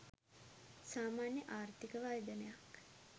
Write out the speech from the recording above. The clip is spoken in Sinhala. සාමාන්‍ය ආර්ථික වර්ධනයක්